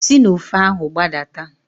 Si n'ofe ahụ gbadata.